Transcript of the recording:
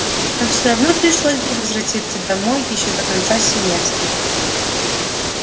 нам всё равно пришлось бы возвратиться домой ещё до конца семестра